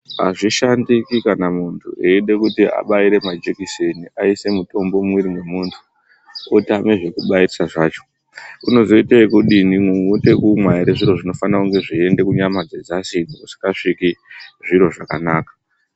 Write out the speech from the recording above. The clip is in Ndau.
Azvishandiki kana muntu eide kuti munhu abaire majikiseni aise mitombo mumuviri mwemuntu otama zvekubaisa zvacho unozoita ekudini oita ekumwa ere zviro zvinofana kuenda kunyama dzedzasi uko dzisingasviki zviro zvakanaka